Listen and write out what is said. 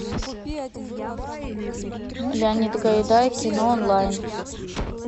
леонид гайдай кино онлайн